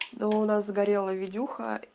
но у нас сгорела видюха